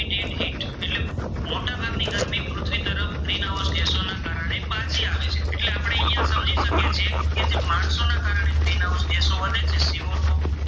ગ્રીનહાઉસે કે C O two